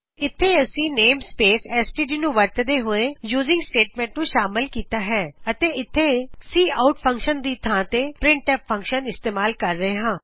ਇਥੇ ਅਸੀ namespace S T D ਨੂੰ ਵਰਤਦੇ ਹੋਏ ਯੂਜ਼ਿਂਗ ਸਟੇਟਮੈਂਟ ਨੂੰ ਸ਼ਾਮਲ ਕਿਤਾ ਹੈ ਅਤੇ ਇੱਥੇ ਅਸੀ ਸੀ ਆਉਟ ਫਂਕਸ਼ਨ ਦੀ ਥਾ ਤੇ ਪਰਿੰਟ ਐਫ ਫਂਕਸ਼ਨ ਇਸਤੇਮਾਲ ਕਰ ਰਹੇ ਹਾ